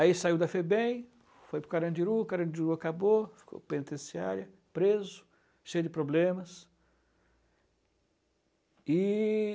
Aí saiu da Febem, foi para o Carandiru, o Carandiru acabou, ficou penitenciária, preso, cheio de problemas. E...